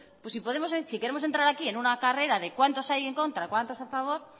si queremos entrar aquí en una carrera de cuántos hay en contra y cuántos a favor